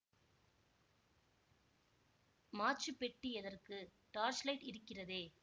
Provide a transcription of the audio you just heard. மாச்சுப் பெட்டி எதற்கு டார்ச்லைட் இருக்கிறதே